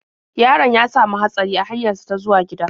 Yaron ya sami hatsari a hanyar sa ta zuwa gida.